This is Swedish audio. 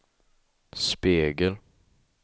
spegel